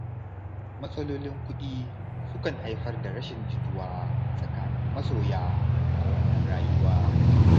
Matsalolin kuɗi sukan haifar da rashin jituwa tsakanin masoya a wannan rayuwa.